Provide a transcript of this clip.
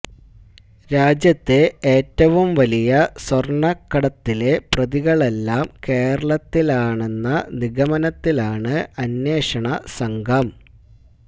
രാജ്യത്തെ ഏറ്റവും വലിയ സ്വര്ണ്ണക്കടത്തിലെ പ്രതികളെല്ലാം കേരളത്തിലാണെന്ന നിഗമനത്തിലാണ് അന്വേഷണ സംഘംം